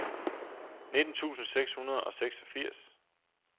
nitten tusind seks hundrede og seksogfirs